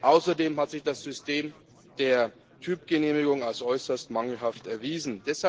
Außerdem hat sich das System der Typgenehmigung als äußerst mangelhaft erwiesen.